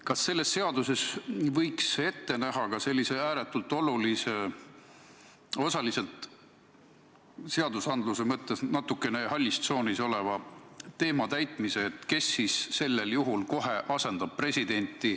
Kas selles seaduses võiks ette näha ka sellise ääretult olulise ja osaliselt seadusandluse mõttes natukene hallis tsoonis oleva küsimuse reguleerimise, kes vajadusel presidenti asendab?